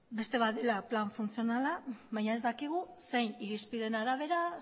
beste bat da plan funtzionala baina ez dakigu zein irizpideen arabera